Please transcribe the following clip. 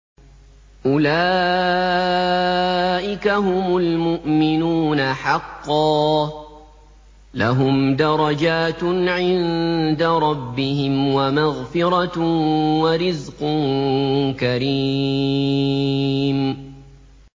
أُولَٰئِكَ هُمُ الْمُؤْمِنُونَ حَقًّا ۚ لَّهُمْ دَرَجَاتٌ عِندَ رَبِّهِمْ وَمَغْفِرَةٌ وَرِزْقٌ كَرِيمٌ